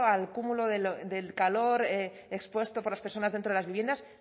al cúmulo del calor expuesto por las personas dentro de las viviendas